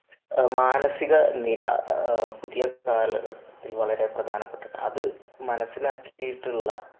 മാനസിക നില പുതിയ കാലഘട്ടത്തിൽ വളരെ പ്രധാനപ്പെട്ടതാണ്. അത് മനസ്സിലാക്കിയിട്ടുള്ള